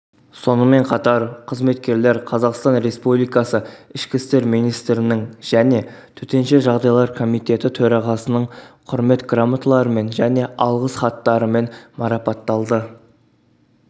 сонымен қатар қызметкерлер қазақстан республикасы ішкі істер министрінің және төтенше жағдайлар комитеті төрағасының құрмет грамоталарымен грамоталармен және алғыс хаттарымен марапатталды